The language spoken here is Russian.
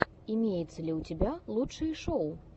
имеется ли у тебя лучшие шоу